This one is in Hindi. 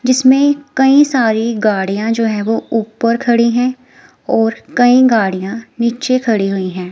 जिसमें कई सारी गाड़ियां जो हैं वो ऊपर खड़ी है और कई गाड़ियां नीचे खड़ी हुई हैं।